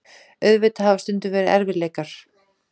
Auðvitað hafa stundum verið erfiðleikar.